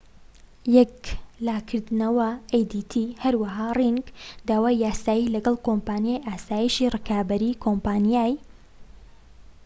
هەروەها ڕینگ داوای یاسایی لەگەڵ کۆمپانیای ئاسایشی ڕکابەری، کۆمپانیای‎ adt ‎یەکلاکردەوە‎